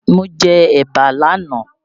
Mo jẹ ẹ̀bà l'ánàá